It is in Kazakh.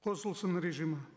қосылсын режимі